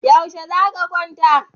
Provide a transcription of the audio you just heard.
Yaushe za ka kwanta?